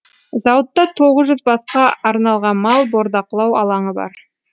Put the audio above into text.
зауытта тоғыз жүз басқа арналған мал бордақылау алаңы бар